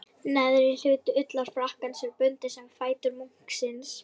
Neðri hluti ullarfrakkans er bundinn um fætur munksins.